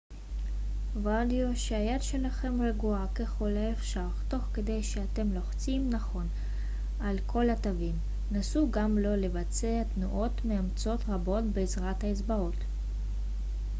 וודאו שהיד שלכם רגועה ככל האפשר תוך כדי שאתם לוחצים נכון על כל התווים נסו גם לא לבצע תנועות מאומצות רבות בעזרת האצבעות